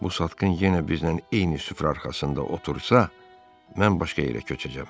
Bu satqın yenə bizlə eyni süfrə arxasında otursa, mən başqa yerə köçəcəm.